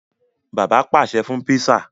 Bàbá pàṣẹ fún pizza.